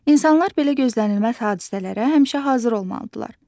İnsanlar belə gözlənilməz hadisələrə həmişə hazır olmalıdırlar.